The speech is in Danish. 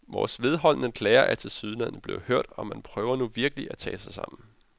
Vores vedholdende klager er tilsyneladende blevet hørt, og man prøver nu virkelig at tage sig sammen.